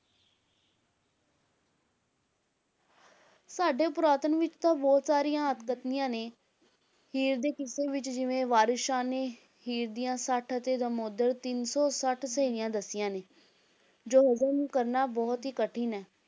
ਸਾਡੇ ਪੁਰਾਤਨ ਵਿੱਚ ਤਾਂ ਬਹੁਤ ਸਾਰੀਆਂ ਅਤਕਥਨੀਆਂ ਨੇ, ਹੀਰ ਦੇ ਕਿੱਸੇ ਵਿੱਚ ਜਿਵੇਂ ਵਾਰਿਸ ਸ਼ਾਹ ਨੇ ਹੀਰ ਦੀਆਂ ਸੱਠ ਅਤੇ ਦਮੋਦਰ ਤਿੰਨ ਸੌ ਸੱਠ ਸਹੇਲੀਆਂ ਦੱਸੀਆਂ ਨੇ, ਜੋ ਹਜ਼ਮ ਕਰਨਾ ਬਹੁਤ ਹੀ ਕਠਿਨ ਹੈ,